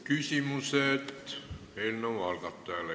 Küsimused eelnõu algatajale.